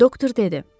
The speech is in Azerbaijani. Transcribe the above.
Doktor dedi: